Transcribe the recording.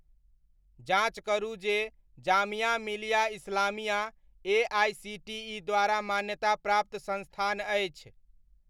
जाँच करू जे जामिया मिलिया इस्लामिया एआइसीटीइ द्वारा मान्यताप्राप्त संस्थान अछि ?